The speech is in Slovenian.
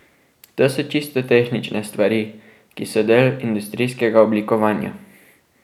To so čisto tehnične stvari, ki so del industrijskega oblikovanja.